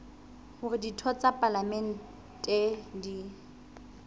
hore ditho tsa palamente di